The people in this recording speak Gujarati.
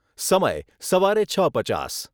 સમય સવારે છ પચાસ